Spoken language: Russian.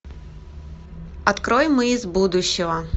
открой мы из будущего